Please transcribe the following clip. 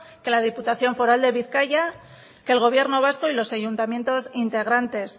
que la diputación foral de bizkaia que el gobierno vasco y los ayuntamientos integrantes